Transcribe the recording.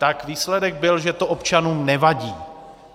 Tak výsledek byl, že to občanům nevadí.